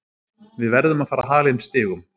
Við verðum að fara að hala inn stigum.